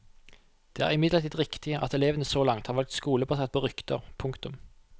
Det er imidlertid riktig at elevene så langt har valgt skole basert på rykter. punktum